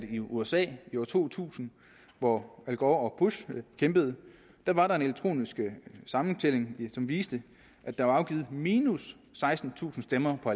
i usa i år to tusind hvor al gore og bush kæmpede da var der en elektronisk sammentælling som viste at der var afgivet minus sekstentusind stemmer på